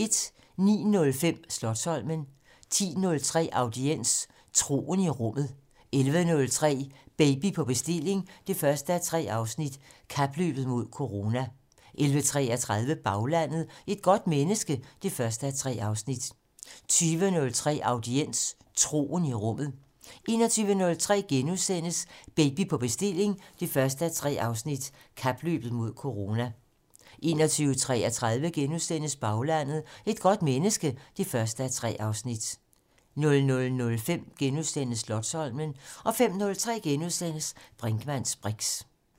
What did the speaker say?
09:05: Slotsholmen 10:03: Audiens: Troen i Rummet 11:03: Baby på bestilling 1:3: Kapløbet mod corona 11:33: Baglandet: Et godt menneske 1:3 20:03: Audiens: Troen i Rummet 21:03: Baby på bestilling 1:3: Kapløbet mod corona * 21:33: Baglandet: Et godt menneske 1:3 * 00:05: Slotsholmen * 05:03: Brinkmanns briks *